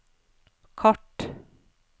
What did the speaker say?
kart